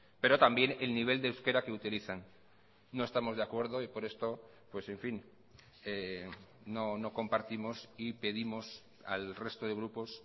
pero también el nivel de euskera que utilizan no estamos de acuerdo y por esto pues en fin no compartimos y pedimos al resto de grupos